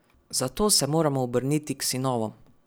Zato se moramo obrniti k sinovom.